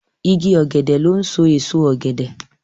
Ìgi ògèdè lón so èso ògèdè.